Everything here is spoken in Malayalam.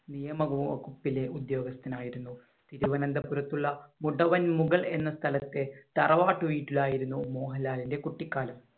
നിയമവകുപ്പിലെ ഉദ്യോഗസ്ഥൻ ആയിരുന്നു. തിരുവനന്തപുരത്തുള്ള മുടവൻമുകൾ എന്ന സ്ഥലത്തെ തറവാട്ട് വീട്ടിലായിരുന്നു മോഹൻലാലിന്‍റെ കുട്ടിക്കാലം.